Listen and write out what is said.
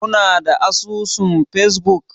Kuna da asusun facebook?